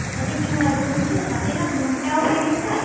তাতে কি হয় বলুনতো, তাতে না মনটাও ভেঙে যায়